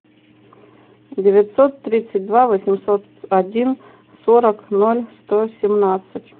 девятьсот тридцать два восемьсот один сорок ноль сто семнадцать